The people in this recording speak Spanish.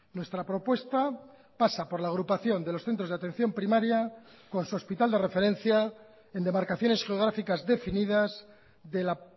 nuestra propuesta pasa por la agrupación de los centros de atención primaria con su hospital de referencia en demarcaciones geográficas definidas de la